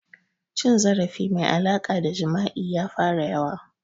Cin zarafi mai alaƙa da jima'i ya fara yawa